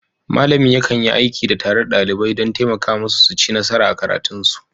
Malamin yakan yi aiki tare da ɗalibai don taimaka musu su ci nasara a karatunsu.